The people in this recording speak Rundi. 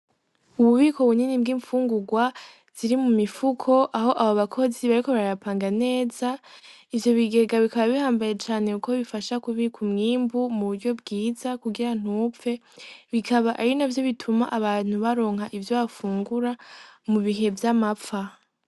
Ububiko bunini bw'imfungurwa ziri mu mifuko, aho abo bakozi bariko barayapanga neza, ivyo bigega bikaba bihambaye cane kuko bifasha kubika umwimbu mu buryo bwiza kugira ntupfe, bikaba ari navyo bituma abantu baronka ivyo bafungura mu bihe vy'amapfa.